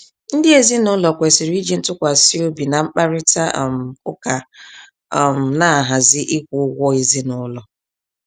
Ndị ezinụlọ kwesịrị iji ntukwasi obi na mkparita um ụka um nahazi ịkwụ ụgwọ ezinụlọ.